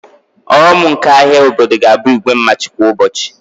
Ọghọm nke ahịa obodo ga-abụ igwe mmadụ kwa ụbọchị